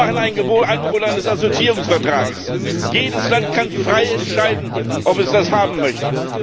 Wir machen ein Angebot eines Assoziierungsvertrags. Jedes Land kann frei entscheiden, ob es das haben möchte.